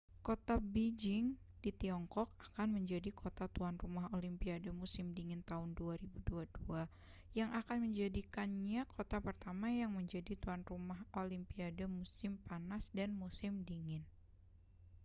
kota beijing di tiongkok akan menjadi kota tuan rumah olimpiade musim dingin tahun 2022 yang akan menjadikannya kota pertama yang menjadi tuan rumah olimpiade musim panas dan musim dingin